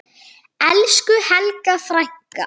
Elsku Helga frænka.